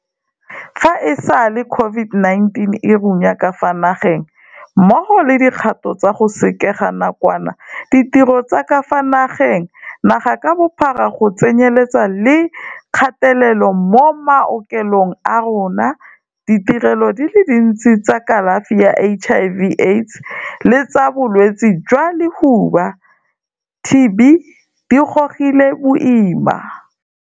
Fa e sale COVID-19 e runya ka fa naegeng, mmogo le dikgato tsa go sekega nakwana ditiro tsa ka fa nageng naga ka bophara go tsenyeletsa le kgatelelo mo maokelong a rona, ditirelo di le dintsi tsa kalafi ya HIV, AIDS le tsa Bo-lwetse jwa Lehuba, TB, di gogile boima.